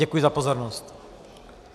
Děkuji za pozornost.